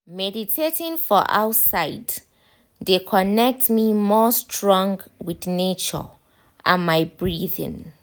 meditating for outside de connect me more strong with nature and my breathing.